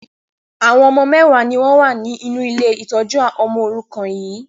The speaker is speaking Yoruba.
Àwọn ọmọ mẹwa ni wọn wá ní inú ilé ìtọ́jú ọmọ òrùkan yii